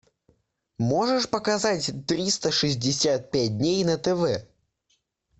можешь показать триста шестьдесят пять дней на тв